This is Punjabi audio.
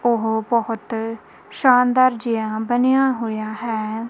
ਪਹੁ ਬਹੁਤ ਸ਼ਾਨਦਾਰ ਜਿਹਾ ਬਣਿਆ ਹੋਇਆ ਹੈ।